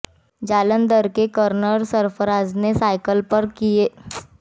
जालंधर के कर्नल सरफराज ने साइकिल पर तय किए दो हजार किमी